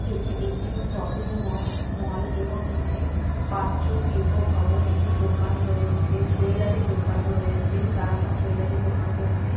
এটি একটি শপিং ম মল এবং এখানে পাত্র শিল্প ভবন একটি দোকান রয়েছে। জুয়েলারি দোকান রয়েছে। তারামা জুয়েলারি দোকান রয়েছে।